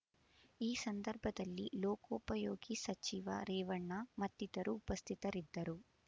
ಈ ಸಂದರ್ಭದಲ್ಲಿ ಲೋಕೋಪಯೋಗಿ ಸಚಿವ ರೇವಣ್ಣ ಮತ್ತಿತರರು ಉಪಸ್ಥಿತರಿದ್ದರು